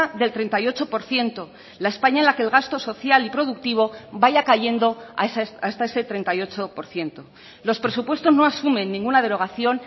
del treinta y ocho por ciento la españa en la que el gasto social y productivo vaya cayendo hasta ese treinta y ocho por ciento los presupuestos no asumen ninguna derogación